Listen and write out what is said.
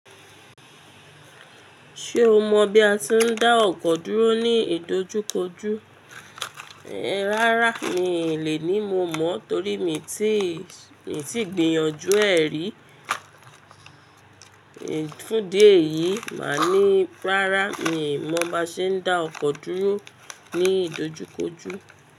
Ṣé o mọ bí a ti ń dá ọkọ̀ dúró ní ìdojúkojú? Rárá mii lè ní mo mọ̀ torí mi tí gbìyànjú ẹ́ rí. Fún di eyìí máa ní, rárá mi mọ bí a ṣe ń dá ọkọ̀ dúró ní ìdojúkojú.